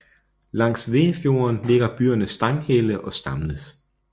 Langs Veafjorden ligger byerne Stanghelle og Stamnes